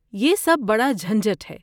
یہ سب بڑا جھنجھٹ ہے۔